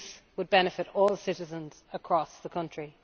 This would benefit all citizens across the country.